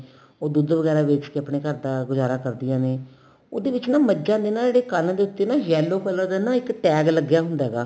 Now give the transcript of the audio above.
ਉਹ ਦੁੱਧ ਵਗੈਰਾ ਵੇਚ ਕੇ ਆਪਣੇ ਘਰ ਦਾ ਗੁਜਾਰਾ ਕਰਦੀਆਂ ਨੇ ਉਹਦੇ ਵਿੱਚ ਨਾ ਮਝਾ ਨੇ ਨਾ ਜਿਹੜੇ ਕੰਨ ਦੇ ਉੱਤੇ ਨਾ yellow color ਦਾ ਨਾ ਇੱਕ tag ਲੱਗਿਆ ਹੁੰਦਾ ਹੈਗਾ